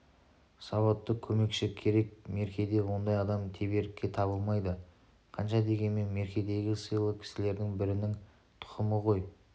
сауатты көмекші керек меркеде ондай адам теберікке табылмайды қанша дегенмен меркедегі сыйлы кісілердің бірінің тұқымы ғой